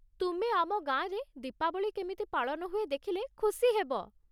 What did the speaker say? ତୁମେ ଆମ ଗାଁରେ ଦୀପାବଳି କେମିତି ପାଳନ ହୁଏ ଦେଖିଲେ ଖୁସି ହେବ ।